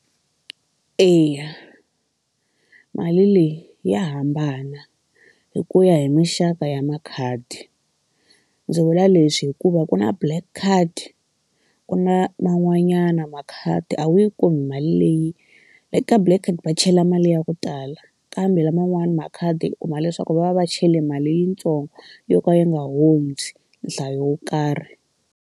Eya mali leyi ya hambana hi ku ya hi mixaka ya makhadi ndzi vula leswi hikuva ku na black card ku na man'wanyana makhadi a wu yi kumi mali leyi like ka black card va chela mali ya ku tala kambe laman'wana makhadi u kuma leswaku va va va chele mali yintsongo yo ka ya nga hundzi nhlayo wo karhi.